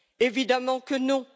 Évidemment que non!